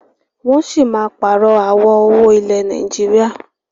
Wọn sì máa pààrọ̀ àwọ̀ owó ilẹ̀ Nàìjíríà.